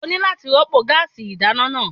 O ní láti rọ́pò gáásì ìdáná náà.